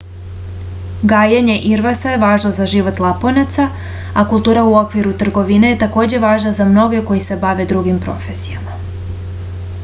gajenje irvasa je važno za život laponaca a kultura u okviru trgovine je takođe važna za mnoge koji se bave drugim profesijama